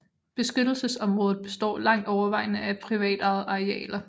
Beskyttelsesområdet består langt overvejende af privatejede arealer